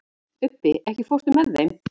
Ubbi, ekki fórstu með þeim?